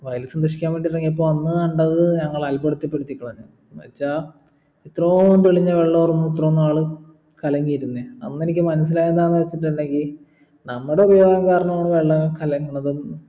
വയൽ സന്ദർശിക്കാൻ വേണ്ടി ഇറങ്ങിയപ്പോൾ അന്ന് കണ്ടത് ഞങ്ങളെ അൽഭുതപ്പെടുത്തതി കളഞ്ഞു എന്നുവെച്ചാ ഇത്രോം തെളിഞ്ഞ വെള്ളായിരുന്നു ഇത്ര നാലും കലങ്ങിരുന്നേ അന്നെനിക്ക് മനസ്സിലായെന്താന്ന് വെച്ചിട്ടിണ്ടെങ്കി നമ്മുടെ ഉപയോഗം കാരണ ആണ് വെള്ളം കലങ്ങുന്നതും